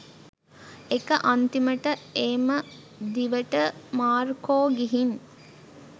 එක අන්තිමට ඒම දිවට මාර්කෝ ගිහින්